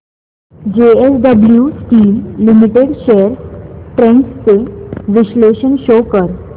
JSW steel limited shares trends चे विश्लेषण show कर